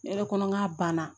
Ne yɛrɛ kɔnɔ n k'a banna